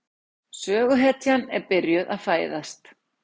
Söguhetjan er byrjuð að fæðast.